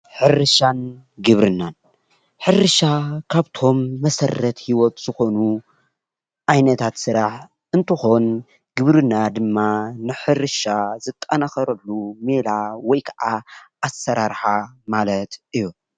ሕርሻን ግብርናን :-ሕርሻ ካብቶም መሰረት ሂወት ዝኾኑ ዓይነታት ስራሕ እትኾን ፤ ግብርና ድማ ንሕርሻ ዝጠናከረሉ ሜላ ወይ ከኣ ኣሰራርሓ ማለት እዩ።